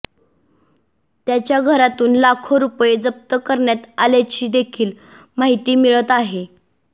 त्याच्या घरातून लाखो रुपये जप्त करण्यात आल्याची देखील माहिती मिळत आहे